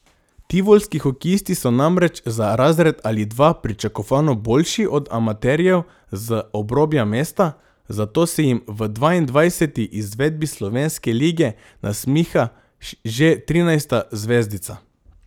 Tivolski hokejisti so namreč za razred ali dva pričakovano boljši od amaterjev z obrobja mesta, zato se jim v dvaindvajseti izvedbi slovenske lige nasmiha že trinajsta zvezdica.